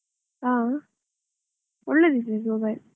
ಆ ಒಳ್ಳೆದಿದೆ, ಇದು mobile .